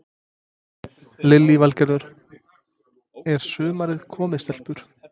Lillý Valgerður: Er sumarið komið stelpur?